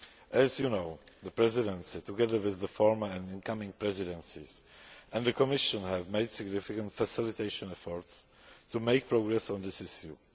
As you know, the Presidency, together with the former and incoming Presidencies and the Commission, has made significant facilitation efforts to make progress on this issue.